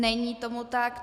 Není tomu tak.